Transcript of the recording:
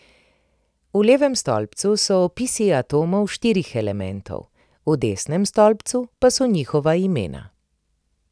V levem stolpcu so opisi atomov štirih elementov, v desnem stolpcu pa so njihova imena.